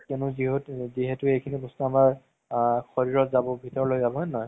যিহেতু এইখিনি বস্তু আমাৰ আ শৰিৰত যাব ভিতৰলৈ যাব হয় নে নহয়